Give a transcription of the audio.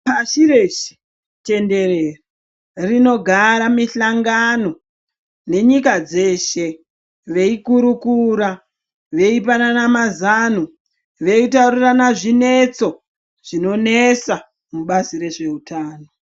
Pashi reshe tenderere rinogara mihlangano nenyika dzeshe. Veikurukura veipanana mazano, veitaurirana zvinetso zvinonesa mubazi rezveutano.